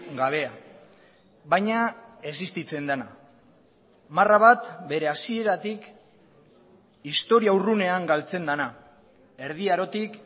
gabea baina existitzen dena marra bat bere hasieratik historia urrunean galtzen dena erdi arotik